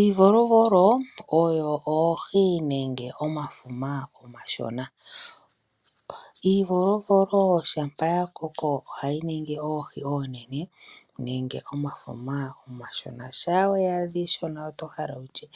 Iivolovolo oyo oohi nenge omafuma omashona. Iivolovolo shampa ya koko oha yi ningi oohi oonene nenge omafuma omashona. Shampa we yi adha iishona oto hala wu tye